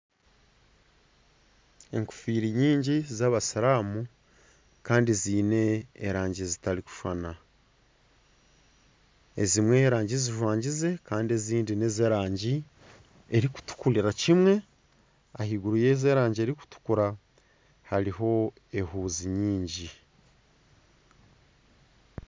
Enkofiira nyingi z'abasiramu Kandi ziine erangi zitarikushushana ezimwe erangi zizwangize Kandi ezindi n'ezerangi erikutukurira kimwe. Ah'eiguru yezo erangi erikutukura hariho ehuzi nyingi.